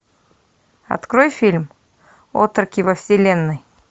открой фильм отроки во вселенной